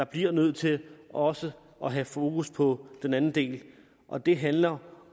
bliver nødt til også at have fokus på den anden del og det handler